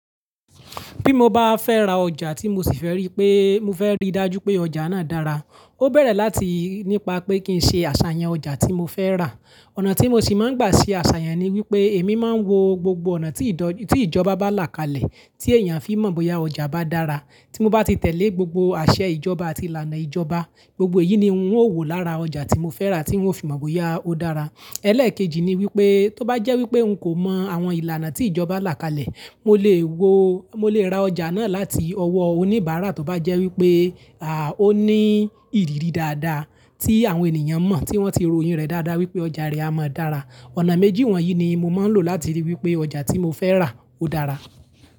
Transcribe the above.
Bí mo bá fẹ́ ra ọjà tí mo sì fẹ́ rí pé, mo fẹ́ rí dájú pé ọjà náà dára, ó bẹ̀rẹ̀ láti nípa pé kí n ṣe àṣàyàn ọjà tí mo fẹ́ rà. Ọ̀nà tí mo ṣì máa ń gbà sí àṣàyàn ni wípé èmi máa ń wo gbogbo ọ̀nà tí ìjọba bá là kalẹ̀ tí èèyàn fi mọ̀ bóyá ọjà bá dára. Tí mo bá ti tẹ̀lé gbogbo àṣẹ ìjọba àti ìlànà ìjọba, gbogbo èyí ni ń o wò lára ọjà tí mo fẹ́ rà tí wọ́n fi mọ̀ bóyá ó dára. Ẹ̀lẹ́ẹ̀kejì ni wípé tó bá jẹ́ wípé n kò mọ àwọn ìlànà tí ìjọba là kalẹ̀, mo lè wo, mo lè ra ọjà náà láti ọwọ́ oníbàárà tó bá jẹ́ wípé à, ó ní ìrírí dáadáa tí àwọn ènìyàn mọ̀ tí wọ́n ti ro iyì rẹ̀ dáadáa wípé ọjà rẹ̀ a mọ́ dára. Ọ̀nà méjì wọ̀nyí ni mo máa ń lò láti rí wípé ọjà tí mo fẹ́ rà ó dára.